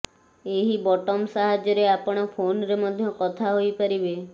ଏହି ବଟମ ସାହାଯ୍ୟରେ ଆପଣ ଫୋନରେ ମଧ୍ୟ କଥା ହୋଇପାରିବେ